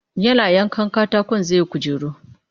Yana yanka katakon zai yi kujera